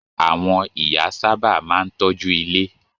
Àwọn ìyá sábà máa ń tọ́jú ilé.